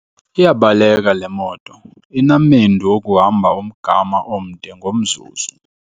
Iyabaleka le moto inamendu okuhamba umgama omde ngomzuzu.